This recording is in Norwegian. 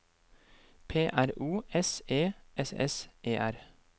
P R O S E S S E R